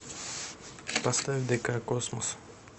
поставь дк космос